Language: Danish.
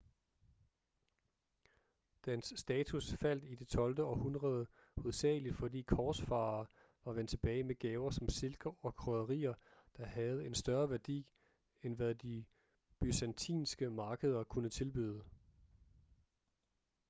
dens status faldt i det tolvte århundrede hovedsageligt fordi korsfarere var vendt tilbage med gaver som silke og krydderier der havde en større værdi end hvad de byzantinske markeder kunne tilbyde